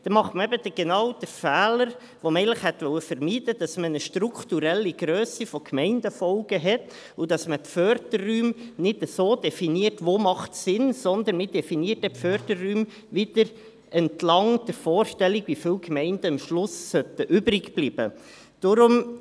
Dann macht man eben genau den Fehler, den man eigentlich vermeiden wollte, nämlich, dass man eine strukturelle Grösse von Gemeindefolgen hat und dass man die Förderräume nicht dort definiert, wo es Sinn macht, sondern man definiert dann die Förderräume wieder entlang der Vorstellung, wie viele Gemeinden am Schluss übrigbleiben sollten.